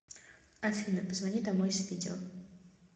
афина позвони домой с видео